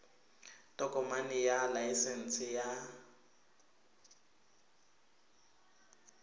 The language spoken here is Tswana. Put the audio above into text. tokomane ya laesense ya s